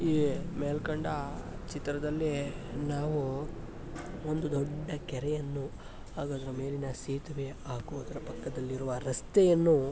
ಈ ಮೇಲ್ಕಂಡ ಚಿತ್ರದಲ್ಲಿ ನಾವು ಒಂದು ದೊಡ್ಡ ಕೆರೆಯನ್ನು ಹಾಗು ಅದರ ಮೇಲಿನ ಸೇತುವೆ ಹಾಗು ಅದರ ಪಕ್ಕದಲ್ಲಿರುವ ರಸ್ತೆಯನ್ನು --